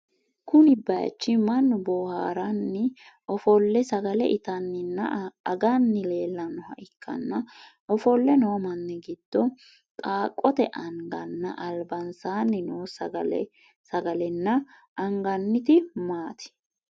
Kunni bayichi mannu boohaaranni ofole sagale intanninna aganni leeltanoha ikanna ofole noo manni gido qaaqote anganna albansaanni noo sagalenna anganniti maati?